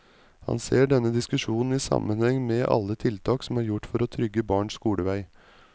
Han ser denne diskusjonen i sammenheng med alle tiltak som er gjort for å trygge barns skolevei.